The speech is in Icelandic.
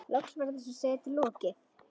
Loks var þessari setu lokið.